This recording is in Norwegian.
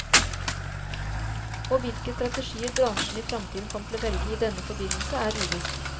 Og hvilke strategier bransjen i framtiden kommer til å velge i denne forbindelse er uvisst.